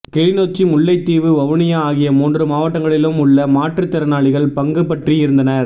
கிளிநொச்சி முல்லைத்தீவு வவுனியா ஆகிய மூன்று மாவட்டங்களிலும் உள்ள மாற்றுத் திறனாளிகள் பங்குபற்றி இருந்தனர்